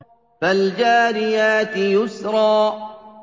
فَالْجَارِيَاتِ يُسْرًا